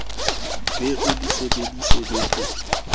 be o di sebeditse bekeng